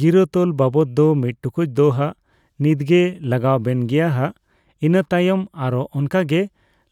ᱜᱤᱨᱟᱹ ᱛᱚᱞ ᱵᱟᱵᱚᱫ ᱫᱚ ᱢᱤᱫ ᱴᱩᱠᱩᱡ ᱫᱚ ᱦᱟᱜ ᱱᱤᱛᱜᱮ ᱞᱟᱜᱟᱣ ᱵᱮᱱ ᱜᱮᱭᱟ ᱦᱟᱜ ᱤᱱᱟᱹ ᱛᱟᱭᱚᱢ ᱟᱨᱚ ᱚᱱᱠᱟ ᱜᱮ